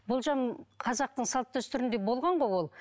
болжам қазақтың салт дәстүрінде болған ғой ол